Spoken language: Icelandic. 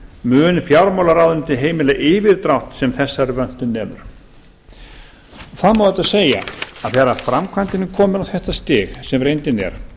mun fjármálaráðuneytið heimila yfirdrátt sem þessari vöntun nemur það má auðvitað segja að þegar framkvæmdin er komin á þetta stig sem reyndin er að